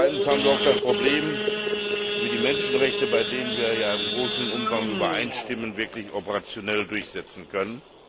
Zweitens haben wir oft ein Problem, wie wir die Menschenrechte, bei denen wir in großem Umfang übereinstimmen, wirklich operationell durchsetzen können.